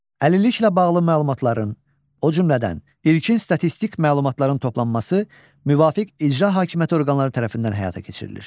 Əlilliklə bağlı məlumatların, o cümlədən ilkin statistik məlumatların toplanması müvafiq icra hakimiyyəti orqanları tərəfindən həyata keçirilir.